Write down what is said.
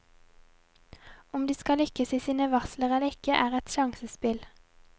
Om de skal lykkes i sine varsler eller ikke, er et sjansespill.